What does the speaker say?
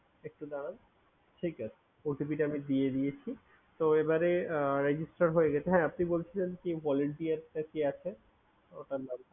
একটু দাঁড়ান। ঠিক আছে OTP টা আমি দিয়ে দিয়েছি। তো এবারে আহ register হয়ে গেছে। হ্যাঁ আপনি বলছিলেন কি volunteer টা কি আছে ওটার নামটা?